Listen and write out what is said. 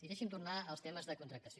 i deixi’m tornar als temes de contractació